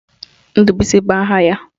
Ndubuisi bụ aha ya